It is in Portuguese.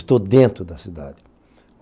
Estou dentro da cidade.